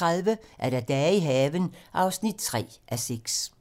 05:30: Dage i haven (3:6)